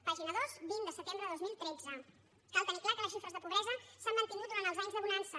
pàgina dos vint de setembre de dos mil tretze cal tenir clar que les xifres de pobresa s’han mantingut durant els anys de bonança